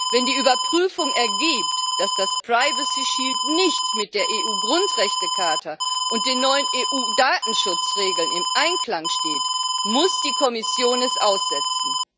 Wenn die Überprüfung ergibt, dass der privacy shield nicht mit der EU-Grundrechtecharta und den neuen EU-Datenschutzregeln im Einklang steht, muss die Kommission ihn aussetzen.